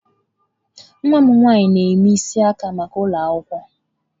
Nwa m nwanyị na-eme isi aka maka ụlọ akwụkwọ.